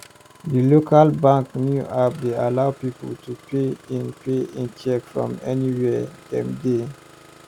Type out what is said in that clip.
di local bank new app dey allow people pay in pay in cheque from anywhere dem dey